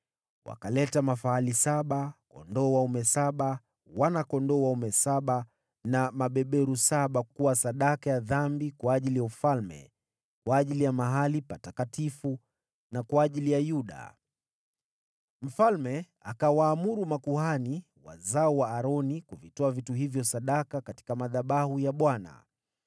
Wakaleta mafahali saba, kondoo dume saba, wana-kondoo dume saba na mabeberu saba kuwa sadaka ya dhambi kwa ajili ya ufalme, kwa ajili ya mahali patakatifu na kwa ajili ya Yuda. Mfalme akawaamuru makuhani, wazao wa Aroni, kuvitoa vitu hivyo sadaka katika madhabahu ya Bwana .